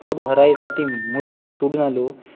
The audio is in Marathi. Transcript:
पोट भराय साठी मुलुख सोडून आलो